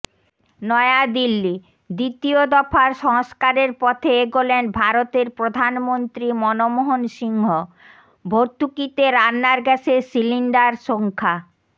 নয়াদিল্লিঃ দ্বিতীয় দফার সংস্কারের পথে এগোলেন ভারতের প্রধানমন্ত্রী মনমোহন সিংহ ভর্তুকিতে রান্নার গ্যাসের সিলিন্ডার সংখ্যা